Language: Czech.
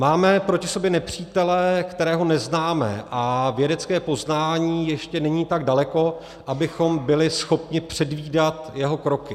Máme proti sobě nepřítele, kterého neznáme, a vědecké poznání ještě není tak daleko, abychom byli schopni předvídat jeho kroky.